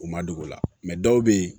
U ma dogo o la dɔw be ye